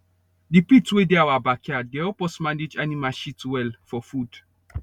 the pit wey dey our backyard dey help us manage animal shit well for food